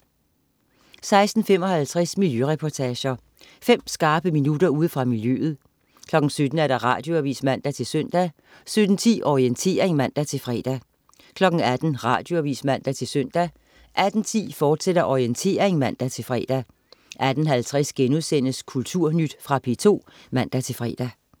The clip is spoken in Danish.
16.55 Miljøreportager. Fem skarpe minutter ude fra miljøet 17.00 Radioavis (man-søn) 17.10 Orientering (man-fre) 18.00 Radioavis (man-søn) 18.10 Orientering, fortsat (man-fre) 18.50 Kulturnyt.* Fra P2 (man-fre)